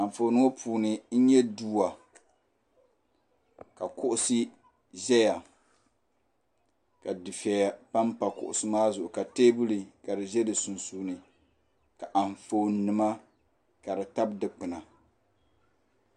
Anfooni ŋɔ puuni n nyɛ dua ka kuɣusi ʒɛya ka dufeya pampa kuɣusi maa zuɣu ka teebuli ka di ʒɛ di sunsuuni ka anfooni nima ka di tabi dikpina.